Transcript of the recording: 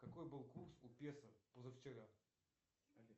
какой был курс у песо позавчера